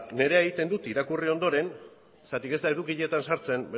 nirea egiten dut irakurri ondoren zergatik ez da edukietan sartzen